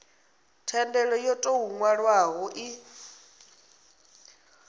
thendelo yo tou nwalwaho i